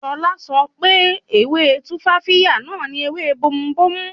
Ṣọlá kò mọ̀ pé ewé Tumfafiya náà ni ewé bomubómú